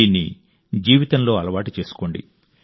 దీన్ని జీవితంలో అలవాటు చేసుకోండి